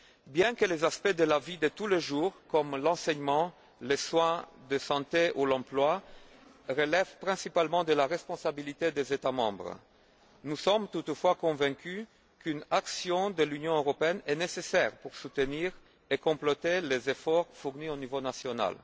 Bien que les aspects de la vie de tous les jours, comme l'enseignement, les soins de santé ou l'emploi, relèvent principalement de la responsabilité des États membres, nous sommes toutefois convaincus qu'une action de l'Union européenne est nécessaire pour soutenir et compléter les efforts fournis au niveau national.